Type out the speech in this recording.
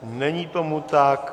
Není tomu tak.